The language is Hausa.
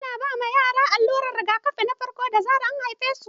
Ana ba yara allurar rigakafi na farko da zarar an haifesu.